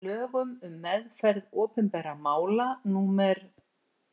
Í lögum um meðferð opinberra mála númer